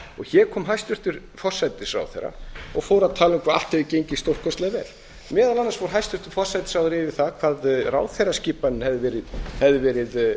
hér kom hæstvirtur forsætisráðherra og fór að tala um hvað allt hefði gengið stórkostlega vel meðal annars fór hæstvirtur forsætisráðherra yfir það hvað ráðherraskipanin hefði verið